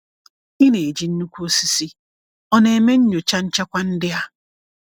Ị na-eji nnukwu osisi — Ọ̀ na-eme nyocha nchekwa ndị a?